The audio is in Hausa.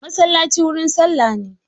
Masallaci wurin sallah ne.